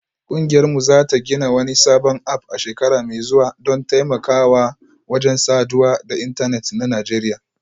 Kungiyarmu za ta gina wani sabon app a shekara mai zuwa don taimakawa wajen saduwa da intanet a Najeriya